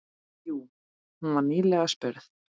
Jú, hún var nýlega spurð.